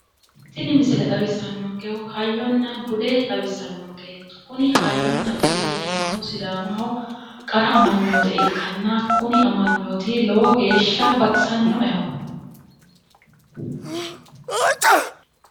tini misile xawissannonkehu hayyonna bude xawissannonke kuni hayyonna bude yinannihu sidaamaho qara amanyoote ikkanna kuni amanyooti lowo geeshsha baxisannoeho.